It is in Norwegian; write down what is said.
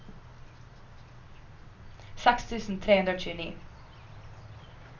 seks tusen tre hundre og tjueni